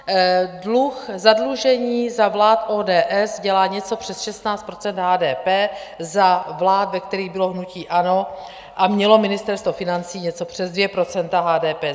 Dluh, zadlužení za vlád ODS dělá něco přes 16 % HDP, za vlád, ve kterých bylo hnutí ANO a mělo Ministerstvo financí, něco přes 2 % HDP.